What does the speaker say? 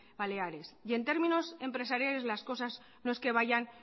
baleares y en términos empresariales las cosas no es que vayan